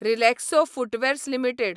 Relaxo footwears limited